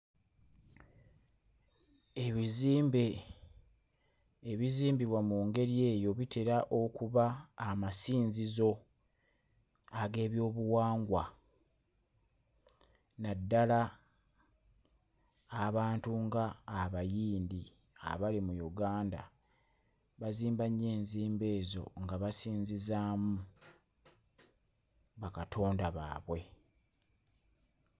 Ebizimbe ebizimbibwa mu ngeri eyo biteera okuba amasinzizo ag'ebyobuwangwa naddala abantu nga Abayindi, abali mu Uganda bazimba nnyo enzimba ezo nga basinzizaamu bakatonda baabwe.